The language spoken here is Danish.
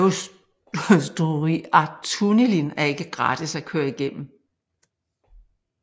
Eysturoyartunnilin er ikke gratis at køre igennem